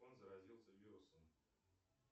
он заразился вирусом